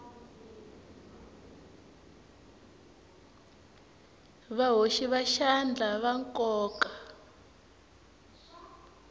vahoxi va xandla va nkoka